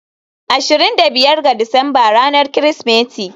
ashirin da biyar ga Disamba ranar Kirsimeti.